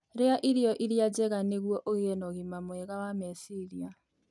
Rĩa irio iria njega nĩguo ũgĩe na ũgima mwega wa meciria,.